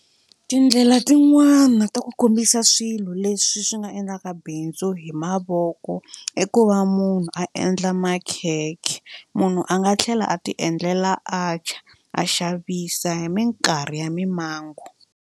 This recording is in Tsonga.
Tindlela tin'wani ta ku kombisa swilo leswi swi nga endlaka bindzu hi mavoko i ku va munhu a endla makhekhe munhu a nga tlhela a tiendlela atchar a xavisa hi minkarhi ya mimango.